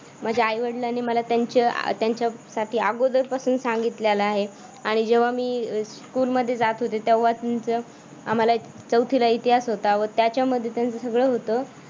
माझ्या आई-वडिलांनी त्यांच्यासाठी आधीपासूनच सांगितले अगोदरपासूनच सांगितलेला आहे आणि जेव्हा मी स्कूल मध्ये जात होते तेव्हाच मी चौथीला इतिहास होता मग त्याच्यामध्ये तर सगळं होतं